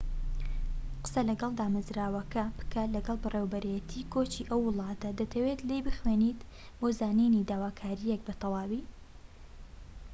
قسە لەگەڵ دامەزراوەکە بکە لەگەڵ بەڕێوەبەرێتی کۆچی ئەو وڵاتەی دەتەوێت لێی بخوێنیت بۆ زانینی داواکاریەکان بە تەواوی